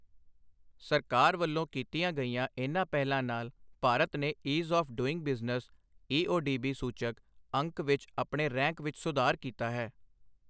ਸਰਕਾਰ ਵੱਲੋਂ ਕੀਤੀਆਂ ਗਈਆਂ ਇਨ੍ਹਾਂ ਪਹਿਲਾਂ ਨਾਲ ਭਾਰਤ ਨੇ ease of doing business EODB ਸੂਚਕ ਅੰਕ ਵਿੱਚ ਆਪਣੇ ਰੈਂਕ ਵਿੱਚ ਸੁਧਾਰ ਕੀਤਾ ਹੈ।